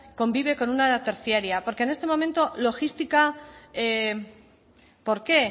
convive con una terciaria porque en este momento logística por qué